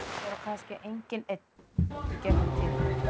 Maður á kannski engan einn í gegnum tíðina.